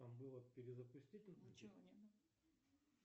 перезапстить